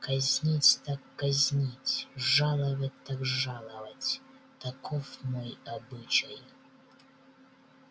казнить так казнить жаловать так жаловать таков мой обычай